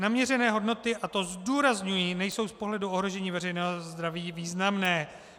Naměřené hodnoty - a to zdůrazňuji - nejsou z pohledu ohrožení veřejného zdraví významné.